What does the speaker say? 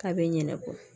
K'a bɛ ɲinɛ kɔ